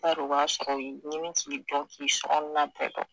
Bari u b'a sɔrɔ ɲini k'i dɔn k'i sokɔnɔna bɛɛ dɔn